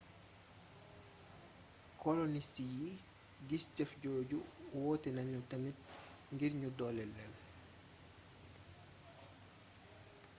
kolonist yi gis jëf jooju wootenanu tamit ngir nu dooleel leel